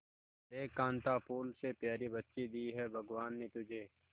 देख कांता फूल से प्यारी बच्ची दी है भगवान ने तुझे